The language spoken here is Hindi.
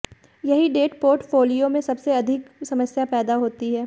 यही डेट पोर्टफोलियो में सबसे अधिक समस्या पैदा होती है